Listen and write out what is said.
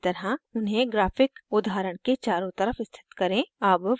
दर्शाये गए की तरह उन्हें graphic उदाहरण के चारों तरफ स्थित करें